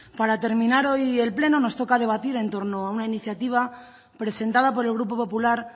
para terminar hoy el pleno nos toca debatir en torno a una iniciativa presentada por el grupo popular